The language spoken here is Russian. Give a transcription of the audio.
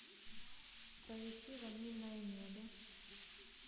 поищи ванильное небо